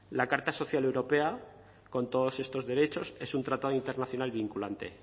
la carta social europea con todos estos derechos es un tratado internacional vinculante